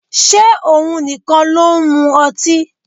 Ṣé òun nìkan ló ń mu ọtí?